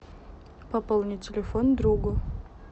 пополнить телефон другу